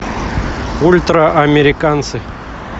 ультраамериканцы